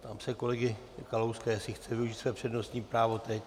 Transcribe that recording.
Ptám se kolegy Kalouska, jestli chce využít své přednostní právo teď.